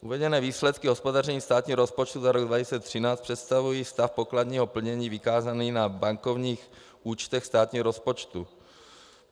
Uvedené výsledky hospodaření státního rozpočtu za rok 2013 představují stav pokladního plnění vykázaný na bankovních účtech státního rozpočtu.